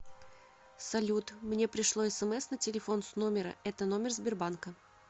салют мне пришло смс на телефон с номера это номер сбербанка